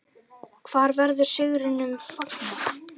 Hvar verður sigrinum fagnað?